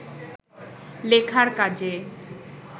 লেখার কাজে